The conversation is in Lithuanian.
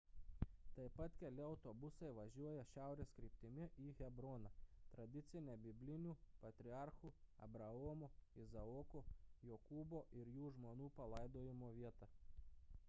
taip pat keli autobusai važiuoja šiaurės kryptimi į hebroną tradicinę biblinių patriarchų abraomo izaoko jokūbo ir jų žmonų palaidojimo vietą